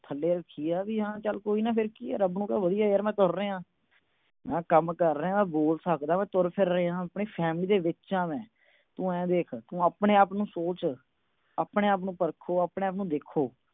ਥੱਲੇ ਰੱਖੀ ਆ। ਰੱਬ ਨੂੰ ਕਹਿ ਚਲ ਵਧੀਆ, ਮੈਂ ਤੁਰ ਰਿਹਾਂ। ਆਪਣਾ ਕੰਮ ਕਰ ਸਕਦਾ, ਬੋਲ ਸਕਦਾ, ਮੈਂ ਤੁਰ ਫਿਰ ਰਿਹਾਂ। ਆਪਣੀ family ਦੇ ਵਿੱਚ ਆ ਮੈਂ। ਤੂੰ ਆਪਣੇ-ਆਪ ਨੂੰ ਸੋਚ। ਆਪਣੇ-ਆਪ ਨੂੰ ਪਰਖੋ, ਆਪਣੇ-ਆਪ ਨੂੰ ਦੇਖੋ।